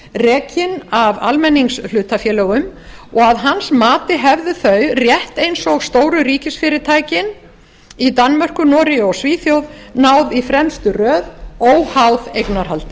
rekin af almenningshlutafélögum og að hans mati hefðu þau rétt eins og stóru ríkisfyrirtækin í danmörku noregi og svíþjóð náð í fremstu röð óháð eignarhaldi